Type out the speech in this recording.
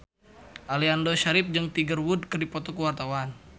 Aliando Syarif jeung Tiger Wood keur dipoto ku wartawan